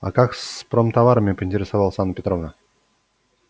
а как с промтоварами поинтересовалась анна петровна